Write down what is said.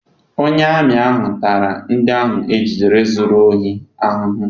Onye amị ahụ tara ndị ahụ e jidere zụrụ ohi ahụhụ.